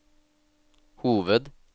hoved